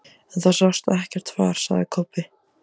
En það sást ekkert far, sagði Kobbi.